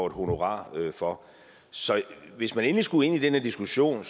et honorar for så hvis vi endelig skulle ind i den her diskussion